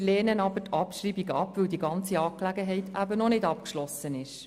Wir lehnen aber die Abschreibung ab, weil die ganze Angelegenheit noch nicht abgeschlossen ist.